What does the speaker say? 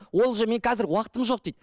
ол уже мен қазір уақытым жоқ дейді